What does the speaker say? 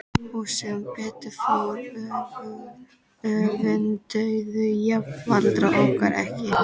Og sem betur fór öfunduðu jafnaldrarnir okkur ekki.